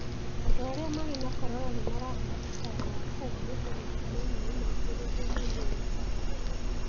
Andũ arĩa marĩ na corona nĩ maraheo ũtaaro wa kũhurũka na kũnyua maaĩ maingĩ nĩguo magĩe na hinya.